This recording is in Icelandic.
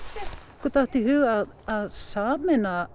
okkur datt í hug að sameina